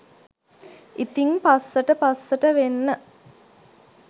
ඉතිං පස්සට පස්සට වෙන්න